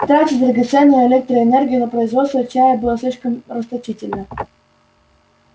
тратить драгоценную электроэнергию на производство чая было слишком расточительно